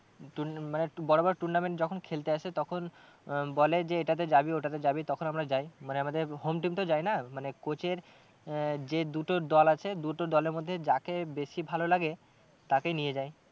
তুন মানে বড়ো বড়ো tournament যখন খেলতে আসে তখন আহ বলে যে এটাতে যাবি ওটাতে যাবি তখন আমরা যাই মানে আমাদের home team তো যায় না মানে coach এর আহ যে দুটো দল আছে দুটো দলের মধ্যে যাকে বেশি ভালো লাগে তাকেই নিয়ে যায়।